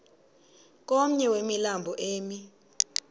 komnye wemilambo emi